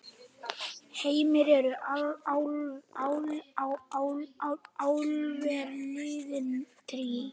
Heimir: Eru álver liðin tíð?